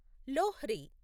Lohri